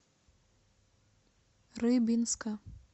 рыбинска